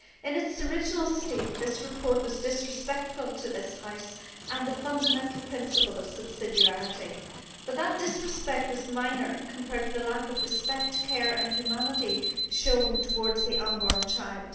In its original state this report was disrespectful to this House and the fundamental principle of subsidiarity, but that disrespect was minor compared to the lack of respect, care and humanity showed towards the unborn child.